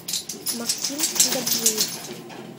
максим гаджиев